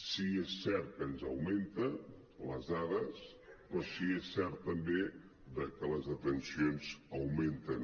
sí que és cert que ens augmenten les dades però sí que és cert també que les detencions augmenten